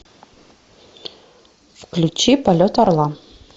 включи полет орла